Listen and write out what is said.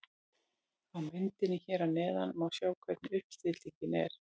Á myndinni hér að neðan má sjá hvernig uppstillingin er.